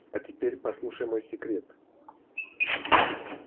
а теперь послушай мой секрет